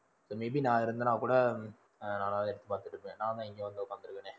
maybe நான் இருந்தேனா கூட ஹம் பாத்திருப்பேன். நான் இங்க வந்து உக்காந்திருக்கனே.